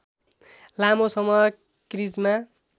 लामो समय क्रिजमा